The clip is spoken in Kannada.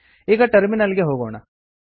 ಈಗ ಟರ್ಮಿನಲ್ ಗೆ ಹೋಗೋಣ